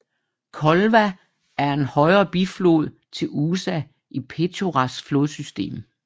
Kolva er en højre biflod til Usa i Petjoras flodsystem